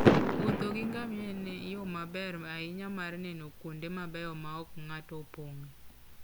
Wuotho gi ngamia en yo maber ahinya mar neno kuonde mabeyo maok ng'ato opong'e.